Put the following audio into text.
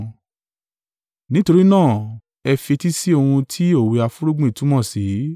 “Nítorí náà, ẹ fi etí sí ohun tí òwe afúnrúgbìn túmọ̀ sí,